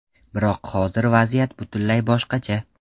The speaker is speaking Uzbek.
Biroq hozir vaziyat butunlay boshqacha.